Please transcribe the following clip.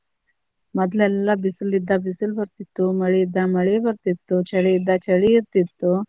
ಮೊದ್ಲೆಲ್ಲಾ ಬಿಸಿಲ ಇದ್ದಾಗ ಬಿಸಿಲ ಬರ್ತಿತ್ತು, ಮಳಿ ಇದ್ದಾಗ ಮಳಿ ಬರ್ತಿತ್ತು, ಚಳಿ ಇದ್ದಾಗ ಚಳಿ ಇರ್ತಿತ್ತು.